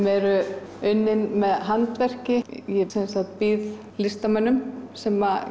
er unnið handverki ég býð listamönnum sem